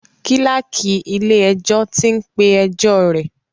Kíláàkì ilé ẹjọ́ tí ń pé ẹjọ́ rẹ̀.